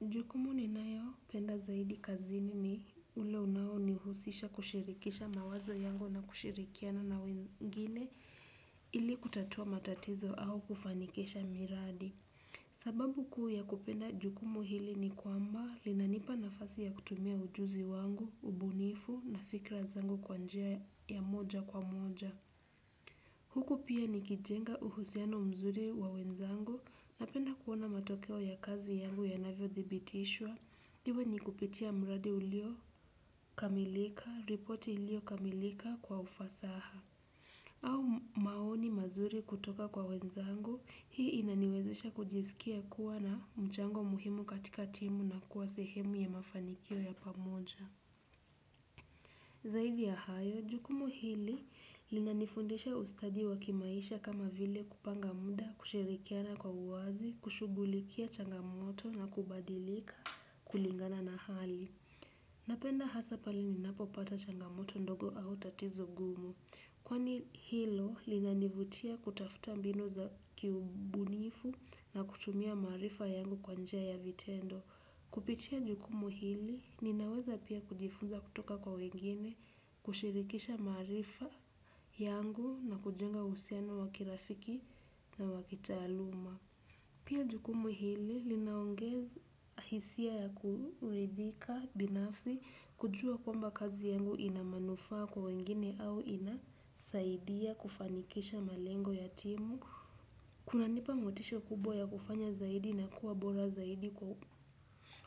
Jukumu ninayopenda zaidi kazini ni ule unaonihusisha kushirikisha mawazo yangu na kushirikiana na wengine ili kutatua matatizo au kufanikisha miradi. Sababu kuu ya kupenda jukumu hili ni kwamba linanipa nafasi ya kutumia ujuzi wangu, ubunifu na fikra zangu kwa njia ya moja kwa moja. Huku pia nikijenga uhusiano mzuri wa wenzangu napenda kuona matokeo ya kazi yangu yanavyo thibitishwa, iwe ni kupitia mradi uliokamilika, ripoti iliyokamilika kwa ufasaha. Au maoni mazuri kutoka kwa wenzangu, hii inaniwezesha kujisikia kuwa na mchango muhimu katika timu na kuwa sehemu ya mafanikio ya pamoja. Zaidi ya hayo, jukumu hili linanifundisha ustadi wa kimaisha kama vile kupanga muda, kushirikiana kwa uwazi, kushughulikia changamoto na kubadilika kulingana na hali. Napenda hasa pale ninapopata changamoto ndogo au tatizo gumu. Kwani hilo linanivutia kutafuta mbinu za kiubunifu na kutumia maarifa yangu kwa njia ya vitendo. Kupitia jukumu hili, ninaweza pia kujifunza kutoka kwa wengine, kushirikisha maarifa yangu na kujenga uhusiano wa kirafiki na wa kitaaluma. Pia jukumu hili, linaongeza hisia ya kuridhika binafsi, kujua kwamba kazi yangu ina manufaa kwa wengine au inasaidia kufanikisha malengo ya timu. Kunanipa motisha kubwa ya kufanya zaidi na kuwa bora zaidi.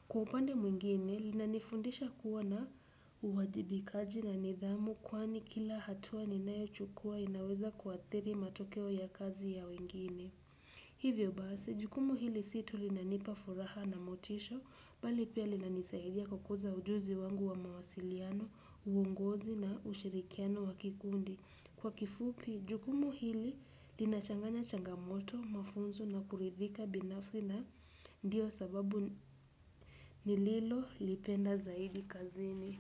Kwa upande mwingine linanifundisha kuwa na uwajibikaji na nidhamu kwani kila hatua ninayochukua inaweza kuathiri matokeo ya kazi ya wengine. Hivyo basi, jukumu hili si tu linanipa furaha na motisha, bali pia linanisaidia kukuza ujuzi wangu wa mawasiliano, uongozi na ushirikiano wa kikundi. Kwa kifupi, jukumu hili linachanganya changamoto, mafunzo na kuridhika binafsi na ndio sababu nililolipenda zaidi kazini.